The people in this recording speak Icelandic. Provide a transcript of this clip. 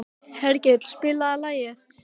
Hergill, spilaðu lag.